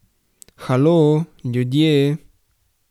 Halo, ljudje!